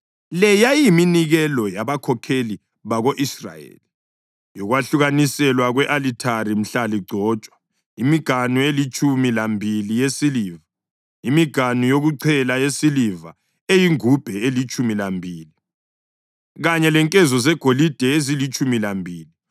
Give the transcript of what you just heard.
Le yayiyiminikelo yabakhokheli bako-Israyeli yokwahlukaniselwa kwe-alithari mhla ligcotshwa: imiganu elitshumi lambili yesiliva, imiganu yokuchela yesiliva eyingubhe elitshumi lambili kanye lenkezo zegolide ezilitshumi lambili.